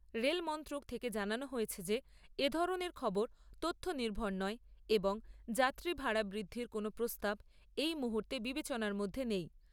Rail মন্ত্রক থেকে জানানো হয়েছে যে, এ ধরণের খবর তথ্য নির্ভর নয় এবং যাত্রী ভাড়া বৃদ্ধির কোনও প্রস্তাব এই মুহূর্তে বিবেচনার মধ্যে নেই।